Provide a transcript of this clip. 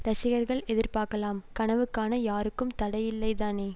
ரசிகர்கள் எதிர்பார்க்கலாம் கனவு காண யாருக்கும் தடை இல்லைதானே